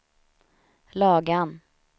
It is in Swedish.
Lagan